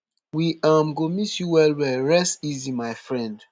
we um go miss you wellwell rest easy my friend